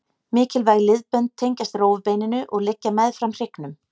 Mikilvæg liðbönd tengjast rófubeininu og liggja meðfram hryggnum.